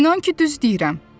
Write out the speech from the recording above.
İnan ki, düz deyirəm.